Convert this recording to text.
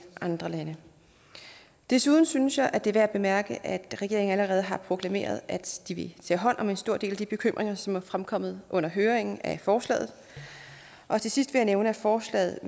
andre lande desuden synes jeg det er værd at bemærke at regeringen allerede har proklameret at de vil tage hånd om en stor del af de bekymringer som er fremkommet under høringen af forslaget og til sidst vil jeg nævne at forslaget